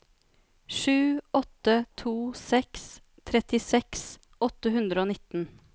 sju åtte to seks trettiseks åtte hundre og nitten